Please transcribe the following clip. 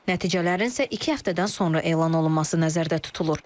Nəticələrin isə iki həftədən sonra elan olunması nəzərdə tutulur.